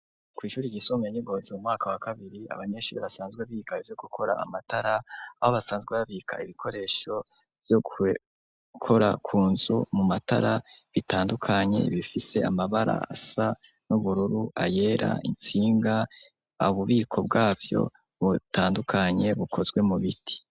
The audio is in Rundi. Kw'ishuri ryisumbuye ry'i Ngozi mu mwaka wa kabiri, abanyeshuri basanzwe biga ivyo gukora amatara, aho basanzwe babika ibikoresho vyo gukora ku nzu mu matara bitandukanye bifise amabara asa n'ubururu, ayera, intsinga ububiko bwavyo butandukanye bukozwe mu biti.